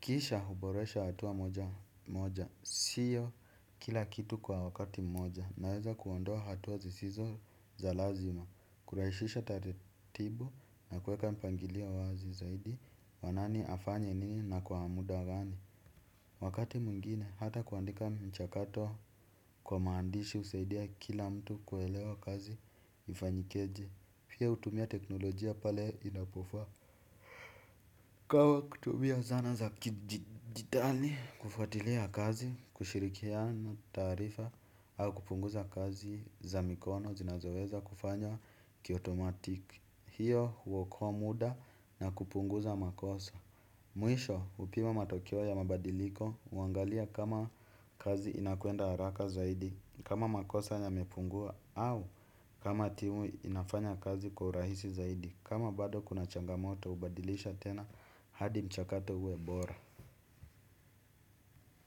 Kisha huboresha hatua moja moja. Sio kila kitu kwa wakati moja. Naweza kuondoa hatua zisizo za lazima. Kurahishisha taretibu na kueka mpangilio wazi zaidi. Wa nani afanye nini na kwa muda gani. Wakati mwingine, hata kuandika mchakato kwa maandishi husaidia kila mtu kuelewa kazi ifanyikeje. Pia utumia teknolojia pale inapofaa ikawa kutumia zana za kijijitali kufuatilia kazi. Kushirikiana taarifa au kupunguza kazi za mikono zinazoweza kufanywa kiotomatik. Hiyo huokoa muda na kupunguza makosa. Mwisho upima matokeo ya mabadiliko. Uangalia kama kazi inakwenda haraka zaidi kama makosa yamepungua au kama timu inafanya kazi kwa urahisi zaidi kama bado kuna changamoto ubadilisha tena hadi mchakato uwe bora.